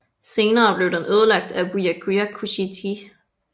Senere blev den ødelagt af Byakuya Kuchiki